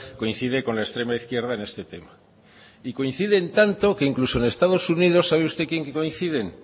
coincide con la extrema izquierda en este tema y coinciden tanto que incluso en estados unidos sabe usted quién coincide